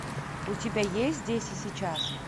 у тебя есть здесь и сейчас